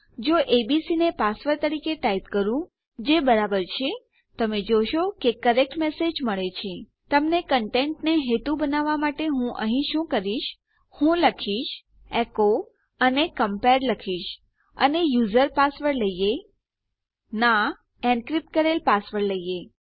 જો એબીસી ને પાસવર્ડ તરીકે ટાઈપ કરીએ જે બરાબર છે તમે જોશો કે કરેક્ટ મેસેજ મળે છે તમને કંટેંટનો હેતુ બતાવવા માટે હું અહીં શું કરીશ હું લખીશ એકો અને કમ્પેર્ડ લખીશ અને યુઝર પાસવર્ડ લઈએ વાસ્તવમાં નહી એનક્રીપ્ટ કરેલ પાસવર્ડ લઈએ